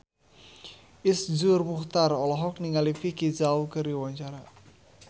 Iszur Muchtar olohok ningali Vicki Zao keur diwawancara